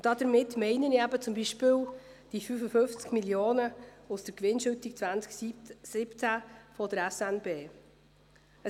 Damit meine ich zum Beispiel die 55 Mio. Franken aus der Gewinnausschüttung 2017 der Schweizerischen Nationalbank (SNB).